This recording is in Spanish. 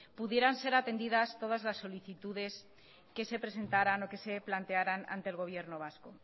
pudieran ser atendidas todas las solicitudes que se presentaran o que se plantearan ante el gobierno vasco